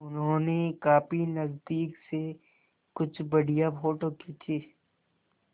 उन्होंने काफी नज़दीक से कुछ बढ़िया फ़ोटो खींचे